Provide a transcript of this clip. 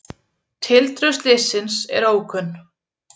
Tildrög slyssins eru ókunn